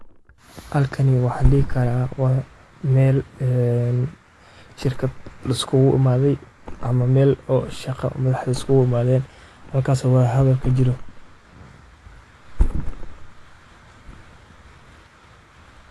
Shirarka wasiirrada waa kulan muhiim ah oo ay ka qayb galaan madaxda wasaaradaha kala duwan ee dowladda, kuwaas oo looga hadlayo arrimaha istiraatiijiga ah ee dalka, qorsheynta horumarinta, iyo xallinta dhibaatooyinka waaweyn ee bulshada. Inta badan shirarkani waxay diiradda saaraan sidii loo horumarin lahaa adeegyada bulshada sida caafimaadka, waxbarashada.